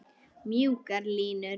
Mjúkar línur.